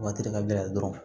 Waati ka gɛlɛn dɔrɔn